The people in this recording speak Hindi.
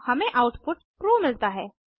हमें आउटपुट ट्रू मिलता है